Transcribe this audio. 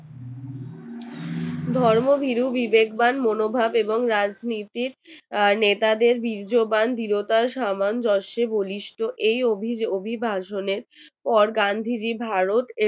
ধর্ম বিরু বিবেকবান মনোভাব এবং রাজনীতি নেতাদের বীর্যবান দৃঢ়তার সমান। জোশে বলিষ্ঠ এই অভিবাসনের পর গান্ধীজীর ভারত